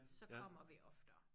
Så kommer vi oftere